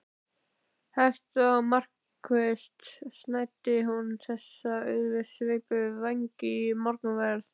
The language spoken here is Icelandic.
Hægt og markvisst snæddi hún þessa auðsveipu vængi í morgunverð.